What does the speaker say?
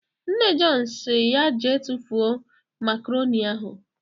Nne Jọn sịrị ya jee tufuo makaronị ahụ.